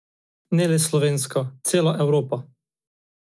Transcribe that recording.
Ne le slovenska, celo evropska...